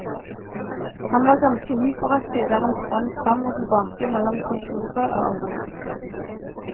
Han var ganske hyperaktiv der han sprang fram og tilbake mellom kontoret og oss.